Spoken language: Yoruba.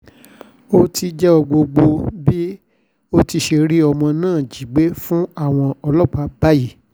ó ti jẹ́wọ́ gbogbo bó ti ṣe rí ọmọ náà jí gbé fáwọn ọlọ́pàá báyìí